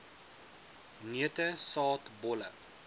neute saad bolle